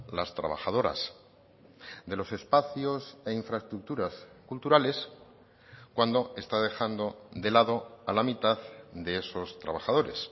las trabajadoras de los espacios e infraestructuras culturales cuando está dejando de lado a la mitad de esos trabajadores